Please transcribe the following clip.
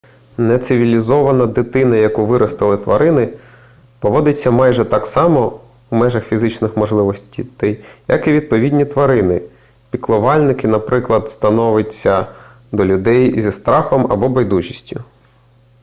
нецивілізована дитина яку виростили тварини поводиться майже так само у межах фізичних можливостей як і відповідні тварини-піклувальники наприклад ставиться до людей зі страхом або байдужістю